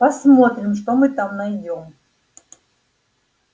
посмотрим что мы там найдём